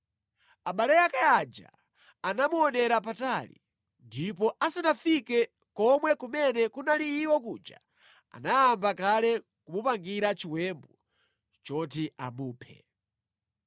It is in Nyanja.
Abale ake aja anamuonera patali. Ndipo asanafike nʼkomwe kumene kunali iwo kuja, anayamba kale kumupangira chiwembu choti amuphe.